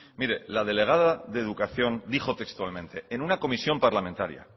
mire la delegada de educación dijo textualmente en una comisión parlamentaria